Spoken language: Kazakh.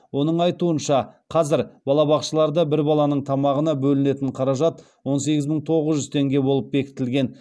оның айтуынша қазір балабақшаларда бір баланың тамағына бөлінетін қаражат он сегіз мың тоғыз жүз теңге болып бекітілген